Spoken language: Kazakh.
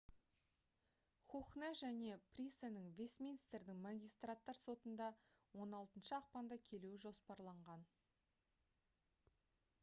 хухне және присенің вестминстердің магистраттар сотында 16 ақпанда келуі жоспарланған